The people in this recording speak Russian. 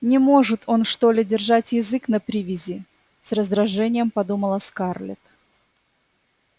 не может он что ли держать язык на привязи с раздражением подумала скарлетт